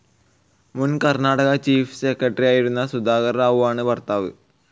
മുൻ കർണാടക ചീഫ്‌ സെക്രട്ടറിയായിരുന്ന സുധാകർ റാവുവാണ് ഭർത്താവ്.